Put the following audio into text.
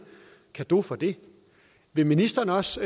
cadeau for det vil ministeren også